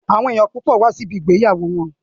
Àwọn èèyàn púpọ̀ wá sí ibi ìgbéyàwó wọn